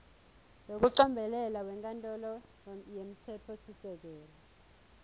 wekucombelela wenkantolo yemtsetfosisekelo